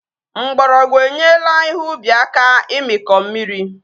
Mgbọrọgwụ enyela ihe ubi aka imikọ mmiri